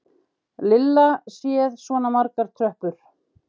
Lilla séð svona margar tröppur.